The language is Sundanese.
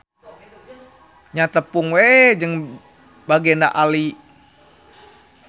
Nya tepung we jeung Bagenda Ali.